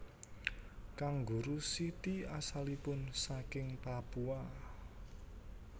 Kanguru siti asalipun saking Papua